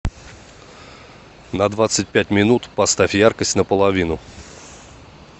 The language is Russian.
на двадцать пять минут поставь яркость на половину